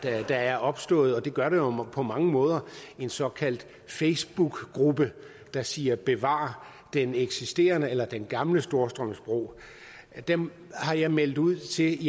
der er opstået og det gør der på mange måder en såkaldt facebookgruppe der siger bevar den eksisterende eller gamle storstrømsbro dem har jeg meldt ud til